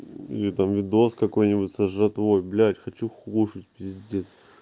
или там видос какой-нибудь со жратвой блять хочу кушать пиздец